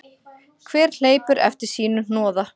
Hver hleypur eftir sínu hnoða.